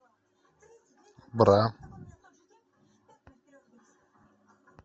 бра